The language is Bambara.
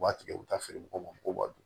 U b'a tigɛ u bɛ taa feere mɔgɔw ma ko b'a dun